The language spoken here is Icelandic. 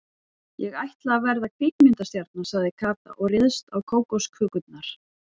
Ég ætla að verða kvikmyndastjarna sagði Kata og réðst á kókoskökurnar.